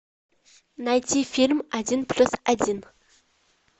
найти фильм один плюс один